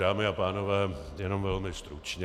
Dámy a pánové, jenom velmi stručně.